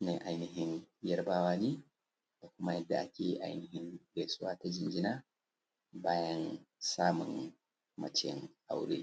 ne ainihin yarbawa ne da kuma yadda ake ainihin gaisuwa ta jinjina bayan samun macen aure